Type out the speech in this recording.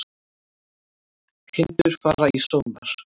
Kindur fara í sónar